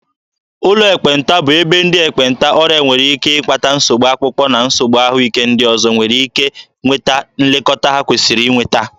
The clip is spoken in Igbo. Ụlọ ekpenta bụ ebe ndị ekpenta, ọrịa nwere ike ịkpata nsogbu akpụkpọ na nsogbu ahụike ndị ọzọ, nwere ike nweta nlekọta ha kwesịrị inweta.